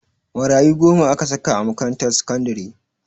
Marayu goma aka saka a makarantar sakandare